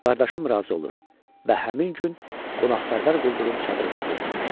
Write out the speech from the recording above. Qardaşım razı olur və həmin gün qonaqpərvər quldurun çadırında gecələyir.